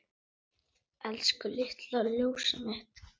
Elsku litla ljósið mitt.